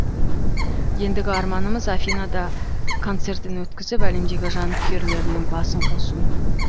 ендігі арманымыз афинада концертін өткізіп әлемдегі жанкүйерлерінің басын қосу